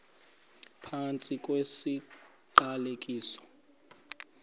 phantsi kwesi siqalekiso